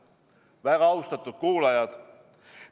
Väga austatud kuulajad!